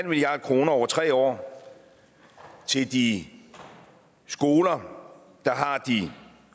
milliard kroner over tre år til de skoler der har de